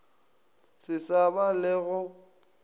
se sa ba le go